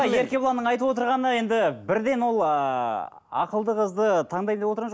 еркебұланның айтып отырғаны енді бірден ол ыыы ақылды қызды таңдайын деп отырған жоқ